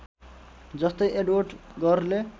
जस्तै एडवर्ड गरले